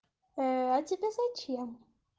а тебе зачем